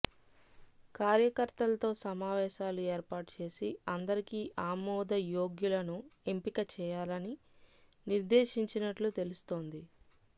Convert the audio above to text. కార్యకర్తలతో సమావేశాలు ఏర్పాటు చేసి అందరికి ఆమోదయోగ్యులను ఎంపిక చేయాలని నిర్దేశించినట్లు తెలుస్తోంది